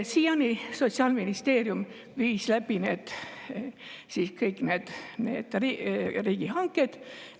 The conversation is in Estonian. Siiani viis Sotsiaalministeerium läbi kõik need riigihanked.